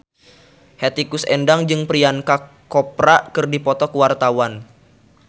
Hetty Koes Endang jeung Priyanka Chopra keur dipoto ku wartawan